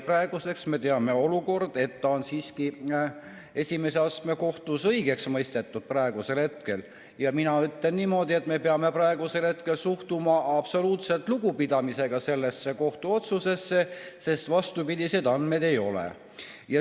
Praegu me teame, et ta on siiski esimese astme kohtus õigeks mõistetud, ja mina ütlen niimoodi, et me peame praegusel hetkel suhtuma absoluutse lugupidamisega sellesse kohtuotsusesse, sest vastupidiseid andmeid ei ole.